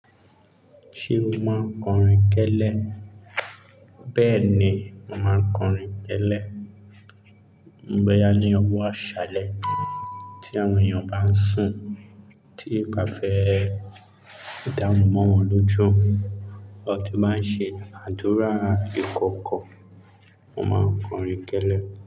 Ṣé o máa ń kọrin kẹ́lẹ́? Bẹ́ẹ̀ ni, màá ń kọrin kẹ́lẹ́. Boya ni ọwọ́ àṣálẹ́ tí àwọn èèyàn bá ń sùn, tí n ba fẹ́ dárunmọ́ wọn lójú, lọ́ ti máa ń ṣe àdúrà ìkọ̀kọ̀, mo máa ń kọrin kẹ́lẹ́